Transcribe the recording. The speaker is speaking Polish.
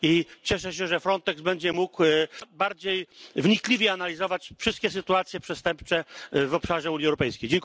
I cieszę się, że Frontex będzie mógł bardziej wnikliwie analizować wszystkie sytuacje przestępcze w obszarze Unii Europejskiej.